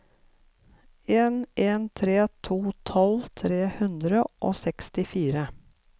en en tre to tolv tre hundre og sekstifire